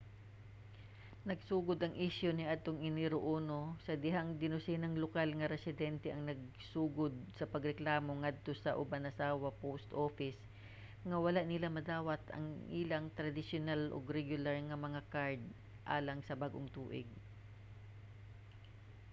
nagsugod ang isyu niadtong enero 1 sa dihang dinosenang lokal nga residente ang nagsugod sa pagreklamo ngadto sa obanazawa post office nga wala nila madawat ang ilang tradisyonal ug regular nga mga kard alang sa bag-ong tuig